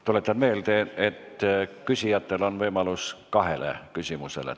Tuletan meelde, et küsijatel on võimalus kaks küsimust esitada.